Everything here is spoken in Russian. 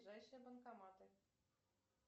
ближайшие банкоматы